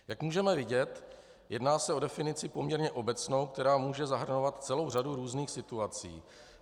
Jak můžeme vidět, jedná se o definici poměrně obecnou, která může zahrnovat celou řadu různých situací.